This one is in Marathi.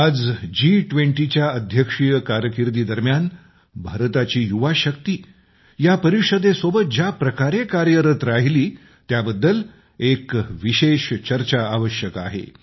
आज जी20च्या अध्यक्षीय कारकीर्दीदरम्यान भारताची युवा शक्ती या परिषदेसोबत ज्याप्रकारे कार्यरत राहिली त्याबद्दल एक विशेष चर्चा आवश्यक आहे